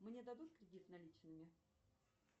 мне дадут кредит наличными